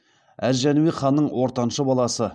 әз жәнібек ханның ортаншы баласы